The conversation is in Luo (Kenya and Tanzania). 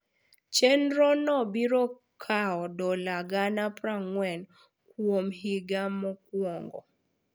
Chenro no biro kawo dola gana 40 kuom higa mokwongo.